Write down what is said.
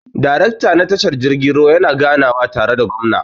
Darekta na tashar jirgin ruwa yana ganawa tare da gwamna.